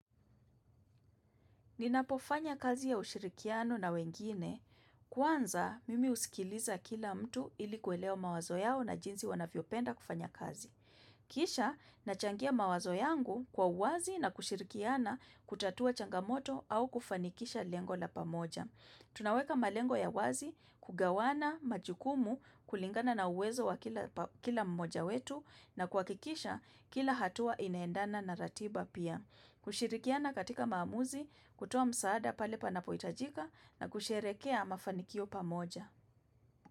Ninapofanya kazi ya ushirikiano na wengine, kwanza mimi usikiliza kila mtu ili kuelewa mawazo yao na jinsi wanavyo penda kufanya kazi. Kisha, nachangia mawazo yangu kwa uwazi na kushirikiana kutatua changamoto au kufanikisha lengo la pamoja. Tunaweka malengo ya wazi kugawana majukumu kulingana na uwezo wa kila mmoja wetu na kuwakikisha kila hatua inaendana na ratiba pia. Kushirikiana katika maamuzi, kutoa msaada pale panapo itajika na kusherehekea mafanikio pamoja.